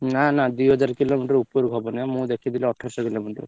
ନା ନା ଦି ହଜାରେ kilometre ଉପରକୁ ହବନିବା ମୁଁ ଦେଖିଥିଲି ଅଠରଶହ kilometre ।